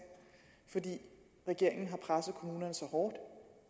fordi regeringen har presset kommunerne så hårdt